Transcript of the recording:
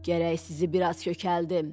Gərək sizi biraz kökəldim.